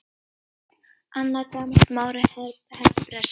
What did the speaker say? Annað gamalt mál er hebreska.